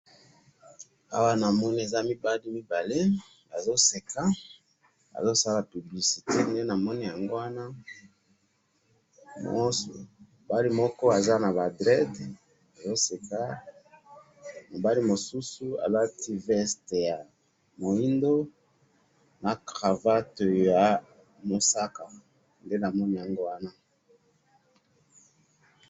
awa namoni eza mibali mibale, bazo seka, bazo sala publicité, nde namoni yango wana, mobali moko aza na draide azo seka, mobali mosusu alati veste ya moindu na cravate ya mosaka, nde namoni yango wana